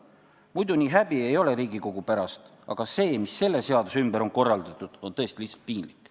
Muidu nii häbi ei ole Riigikogu pärast, aga see, mis selle seaduse ümber on korraldatud, on tõesti lihtsalt piinlik.